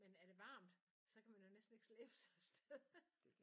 Men er det varmt så kan man jo næsten ikke slæbe sig afsted